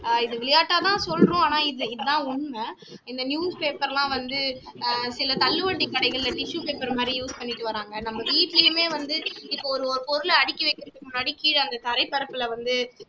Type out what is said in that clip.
ஆஹ் இதை விளையாட்டாதா சொல்றோம் ஆனா இதான் உண்மை இந்த newspaper லாம் வந்து அஹ் சில தள்ளுவண்டி கடைகள்ல tissue paper மாதிரி use பண்ணிட்டு வர்றாங்க நம்ம வீட்டுலயுமே வந்து இப்போ ஒரு ஒரு பொருளை அடுக்கி வக்கிறதுக்கு முன்னாடி கீழ அந்த தரை பரப்புல வந்து